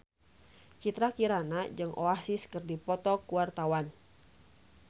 Citra Kirana jeung Oasis keur dipoto ku wartawan